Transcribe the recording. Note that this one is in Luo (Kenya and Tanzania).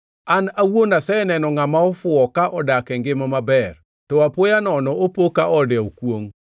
An awuon aseneno ngʼama ofuwo ka odak e ngima maber, to apoya nono opo ka ode okwongʼ.